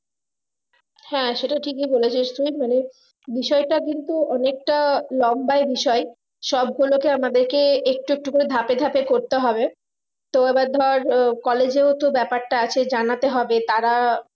হ্যাঁ সেটা ঠিকই বলেছিস তুই মানে বিষয় তা কিন্তু অনেকটা long by বিষয় সব গুলোকে আমাদেরকে একটু একটু করে ধাপে ধাপে করতে হবে তো এবার ধর উহ college ইউ তো ব্যাপারটা আছে জানাতে হবে তারা